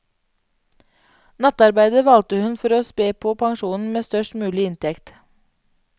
Nattarbeidet valgte hun for å spe på pensjonen med størst mulig inntekt.